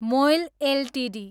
मोइल Ltd